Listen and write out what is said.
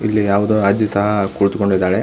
ಇಲ್ಲಿ ಯಾವುದೊ ಅಜ್ಜಿ ಸಹ ಕುಳಿತು ಕೊಂಡಿದ್ದಾಳೆ.